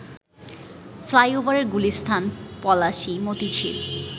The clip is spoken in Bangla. ফ্লাইওভারের গুলিস্তান, পলাশী, মতিঝিল